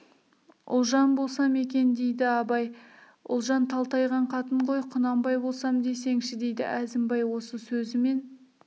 ұлжан болсам екен дейді абай ұлжан талтайған қатын ғой құнанбай болсам десеңші дейді әзімбай осы сөзімен